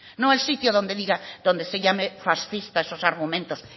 no el sitio donde diga donde se llame fascista a esos argumentos